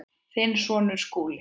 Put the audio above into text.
Þinn sonur, Skúli.